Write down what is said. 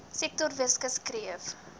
sektor weskus kreef